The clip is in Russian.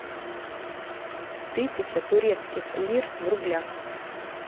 тысяча турецких лир в рублях